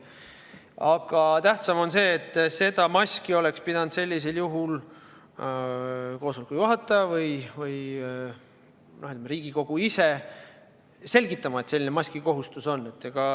Aga tähtsam on see, et maskikohustust oleks sellisel juhul pidanud koosoleku juhataja või Riigikogu ise selgitama.